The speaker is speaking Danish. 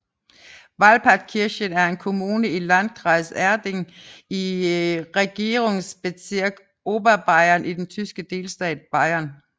Walpertskirchen er en kommune i Landkreis Erding i Regierungsbezirk Oberbayern i den tyske delstat Bayern